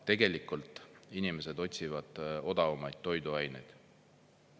Tegelikult inimesed otsivad odavamaid toiduaineid.